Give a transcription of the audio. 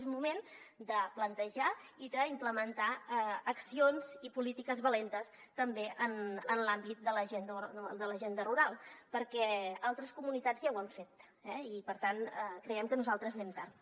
és moment de plantejar i d’implementar accions i polítiques valentes també en l’àmbit de l’agenda rural perquè altres comunitats ja ho han fet eh i per tant creiem que nosaltres anem tard